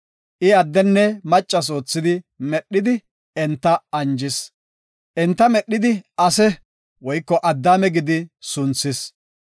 I addenne maccas oothi medhidi enta anjis. Enta medhidi Ase (Addaame) gidi sunthis.